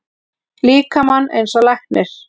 líkamann eins og læknir.